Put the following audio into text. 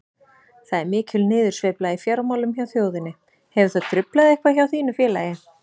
Það er mikil niðursveifla í fjármálum hjá þjóðinni, hefur það truflað eitthvað hjá þínu félagi?